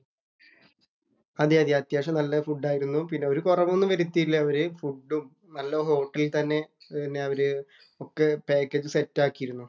അതേയതെ, അത്യാവശ്യം നല്ല ഫുഡ് ആരുന്നു. പിന്നെ ഒരു കൊറവ് ഒന്നും വരുത്തിയില്ല അവര്. ഫുഡും നല്ല ഹോട്ടലില്‍ തന്നെ അവര് ഒക്കെ പാക്കേജ് സെറ്റ് ആക്കിയിരുന്നു.